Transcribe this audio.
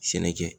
Sɛnɛ kɛ